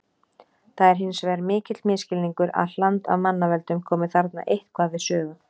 Það er hins vegar mikill misskilningur að hland af mannavöldum komi þarna eitthvað við sögu.